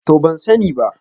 To ban sani ba.